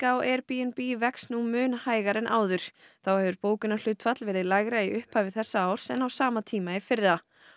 á Airbnb vex mun hægar nú en áður þá hefur bókunarhlutfall verið lægra í upphafi þessa árs en á sama tíma í fyrra